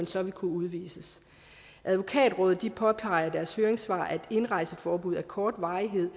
så vil kunne udvises advokatrådet påpeger i deres høringssvar at et indrejseforbud af kort varighed